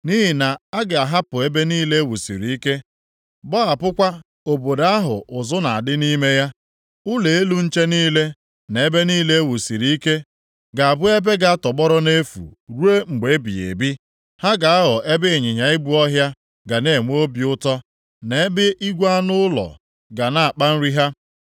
Nʼihi na a ga-ahapụ ebe niile e wusiri ike, gbahapụkwa obodo ahụ ụzụ na-adị nʼime ya; ụlọ elu nche niile na ebe niile ewusiri ike ga-abụ ebe ga-atọgbọrọ nʼefu ruo mgbe ebighị ebi, ha ga-aghọ ebe ịnyịnya ibu ọhịa ga na-enwe obi ụtọ, na ebe igwe anụ ụlọ ga na-akpa nri ha.